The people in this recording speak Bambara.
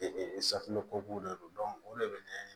Ee safunɛko de do o de bɛ ɲɛ